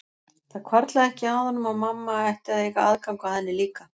Það hvarflaði ekki að honum að mamma ætti að eiga aðgang að henni líka.